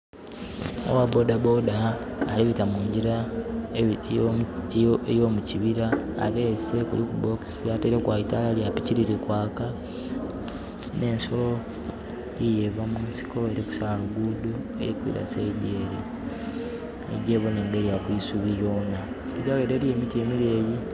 Owa bodaboda abita munjira eyo mukibira, abese kuliku bokisi ataireku eitala lya piki liri kwaka. Ne nsolo yiyo eva mu nsiko eri kusaala luguudo eri kwira saidi ere egye boone erya kwisubi lyoona. Eriyo emiti emireyi